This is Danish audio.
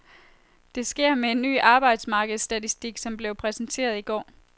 Det sker med en ny arbejdsmarkedstatistik som blev præsenteret i går.